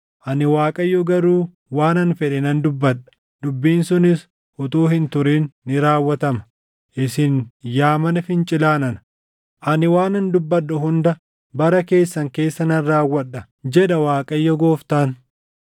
Ani Waaqayyo garuu waanan fedhe nan dubbadha; dubbiin sunis utuu hin turin ni raawwatama. Isin yaa mana fincilaa nana, ani waanan dubbadhu hunda bara keessan keessa nan raawwadha, jedha Waaqayyo Gooftaan.’ ”